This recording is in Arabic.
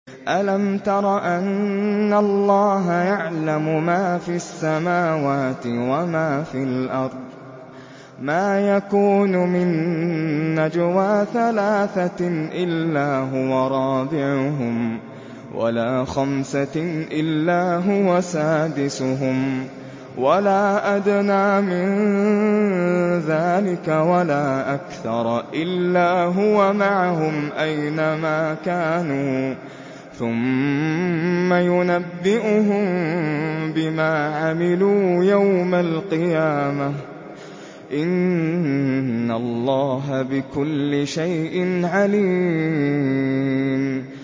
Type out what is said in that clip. أَلَمْ تَرَ أَنَّ اللَّهَ يَعْلَمُ مَا فِي السَّمَاوَاتِ وَمَا فِي الْأَرْضِ ۖ مَا يَكُونُ مِن نَّجْوَىٰ ثَلَاثَةٍ إِلَّا هُوَ رَابِعُهُمْ وَلَا خَمْسَةٍ إِلَّا هُوَ سَادِسُهُمْ وَلَا أَدْنَىٰ مِن ذَٰلِكَ وَلَا أَكْثَرَ إِلَّا هُوَ مَعَهُمْ أَيْنَ مَا كَانُوا ۖ ثُمَّ يُنَبِّئُهُم بِمَا عَمِلُوا يَوْمَ الْقِيَامَةِ ۚ إِنَّ اللَّهَ بِكُلِّ شَيْءٍ عَلِيمٌ